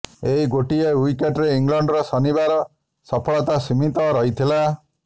ଏହି ଗୋଟିଏ ଓ୍ବିକେଟ୍ରେ ଇଂଲଣ୍ଡର ଶନିବାର ସଫଳତା ସୀମିତ ରହିଥିଲା